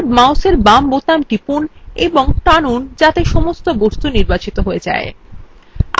এখন বাম মাউসের বোতাম টিপুন এবং টানুন যাতে সমস্ত বস্তু নির্বাচিত হয়ে যায়